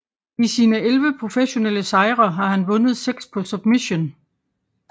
I sine elleve professionelle sejre har han vundet 6 på submission